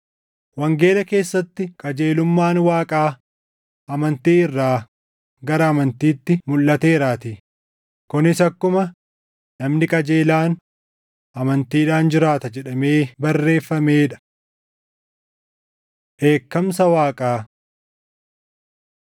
Wangeela keessatti qajeelummaan Waaqaa amantii irraa gara amantiitti mulʼateeraatii; kunis akkuma, “Namni qajeelaan amantiidhaan jiraata” + 1:17 \+xt Anb 2:4\+xt* jedhamee barreeffamee dha. Dheekkamsa Waaqaa